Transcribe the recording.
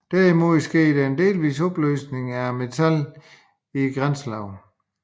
Derimod sker der en delvis opløsning af metallet i grænselaget